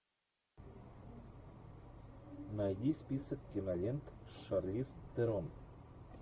найди список кинолент с шарлиз терон